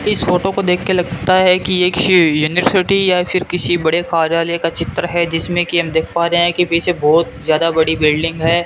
इस फोटो को देख के लगता है कि एक श यूनिवर्सिटी या फिर किसी बड़े कार्यालय का चित्र है जिसमें कि हम देख पा रहे हैं कि पीछे बहुत ज्यादा बड़ी बिल्डिंग है।